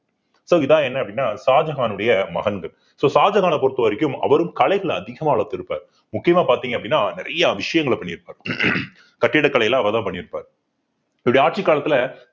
so இதான் என்ன அப்படின்னா ஷாஜகானுடைய மகன்கள் so ஷாஜகானை பொறுத்தவரைக்கும் அவரும் கலைகள அதிகமா வளர்த்திருப்பார் முக்கியமா பார்த்தீங்க அப்படின்னா நிறைய விஷயங்களை பண்ணியிருப்பார் கட்டிடக்கலை எல்லாம் அவர்தான் பண்ணியிருப்பார் இவருடைய ஆட்சி காலத்துல